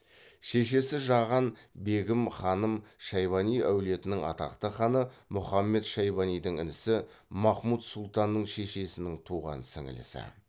шешесі жаған бегім ханым шайбани әулетінің атақты ханы мұхаммед шайбанидің інісі махмұд сұлтанның шешесінің туған сіңілісі